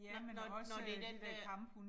Nåh nåh nåh det den dér